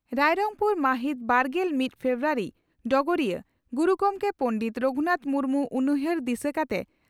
ᱨᱟᱭᱨᱚᱝᱯᱩᱨ ᱢᱟᱦᱤᱛ ᱵᱟᱨᱜᱮᱞ ᱢᱤᱫ ᱯᱷᱮᱵᱨᱩᱣᱟᱨᱤ (ᱰᱚᱜᱚᱨᱤᱭᱟᱹ) ᱺ ᱜᱩᱨᱩ ᱜᱚᱢᱠᱮ ᱯᱚᱸᱰᱮᱛ ᱨᱚᱜᱷᱩᱱᱟᱛᱷ ᱢᱩᱨᱢᱩ ᱩᱱᱩᱭᱦᱟᱹᱨ ᱫᱤᱥᱟᱹ ᱠᱟᱛᱮ